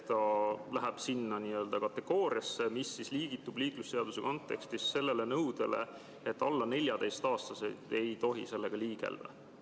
Ta läheb sinna kategooriasse, mis allub liiklusseaduse kontekstis sellele nõudele, et alla 14-aastased ei tohi sellega liigelda.